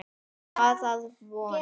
Er það að vonum.